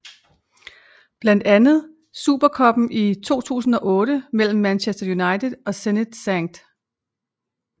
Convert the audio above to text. Blandt andet Super Cuppen i 2008 mellem Manchester United og Zenit Skt